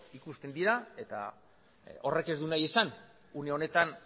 ikusten dira eta horrek ez du nahi esan une honetan